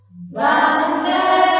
VandeMataram